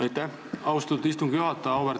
Aitäh, austatud istungi juhataja!